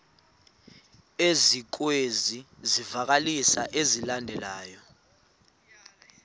ezikwezi zivakalisi zilandelayo